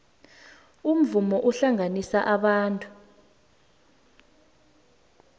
umvumo uhlanganisa abantu